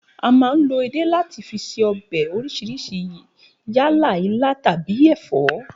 A máa ń lo edé láti fi se o̩bè̩ orís̩irís̩I yálà ilá tàbí è̩fó̩